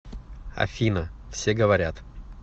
афина все говорят